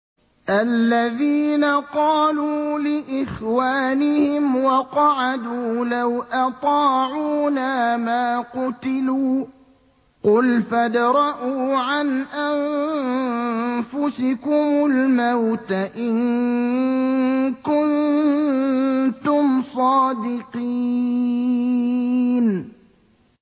الَّذِينَ قَالُوا لِإِخْوَانِهِمْ وَقَعَدُوا لَوْ أَطَاعُونَا مَا قُتِلُوا ۗ قُلْ فَادْرَءُوا عَنْ أَنفُسِكُمُ الْمَوْتَ إِن كُنتُمْ صَادِقِينَ